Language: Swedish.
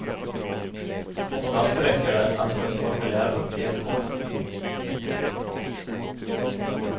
Oftast räcker det att på ett formulär uppge ett kontonummer.